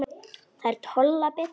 Þær tolla betur.